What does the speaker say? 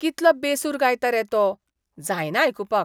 कितलो बेसूर गायता रे तो. जायना आयकुपाक.